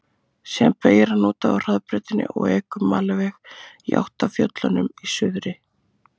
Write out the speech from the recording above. Síðan beygir hann út af hraðbrautinni og ekur malarveg í átt að fjöllunum í suðri.